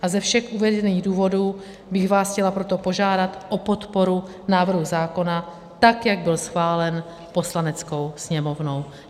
A ze všech uvedených důvodů bych vás chtěla proto požádat o podporu návrhu zákona tak, jak byl schválen Poslaneckou sněmovnou.